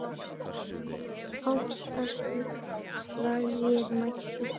Átta slagir mættir.